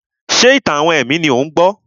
Ṣé ìtàn-àwọn ẹ̀mí ni ò ń gbọ́?